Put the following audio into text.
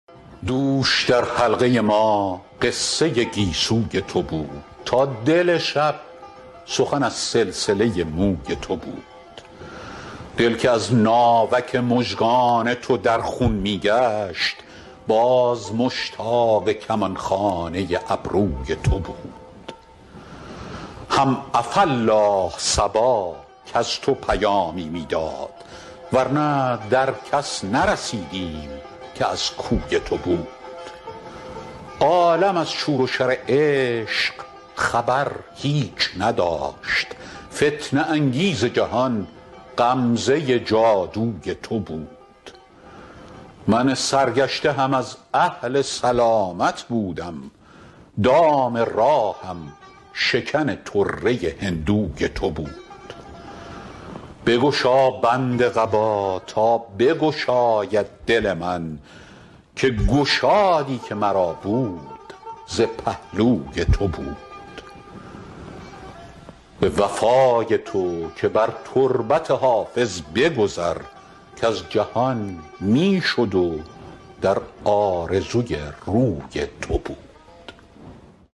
دوش در حلقه ما قصه گیسوی تو بود تا دل شب سخن از سلسله موی تو بود دل که از ناوک مژگان تو در خون می گشت باز مشتاق کمان خانه ابروی تو بود هم عفاالله صبا کز تو پیامی می داد ور نه در کس نرسیدیم که از کوی تو بود عالم از شور و شر عشق خبر هیچ نداشت فتنه انگیز جهان غمزه جادوی تو بود من سرگشته هم از اهل سلامت بودم دام راهم شکن طره هندوی تو بود بگشا بند قبا تا بگشاید دل من که گشادی که مرا بود ز پهلوی تو بود به وفای تو که بر تربت حافظ بگذر کز جهان می شد و در آرزوی روی تو بود